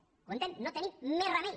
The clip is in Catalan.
ho entén no tenim més remei